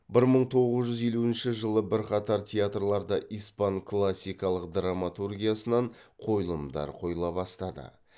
бір мың тоғыз жүз елуінші жылы бірқатар театрларда испан классикалық драматургиясынан қойылымдар қойыла бастады